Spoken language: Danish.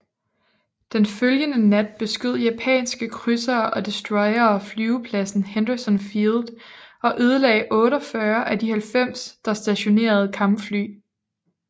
Den følgende nat beskød japanske krydsere og destroyere flyvepladsen Henderson Field og ødelagde 48 af de 90 der stationerede kampfly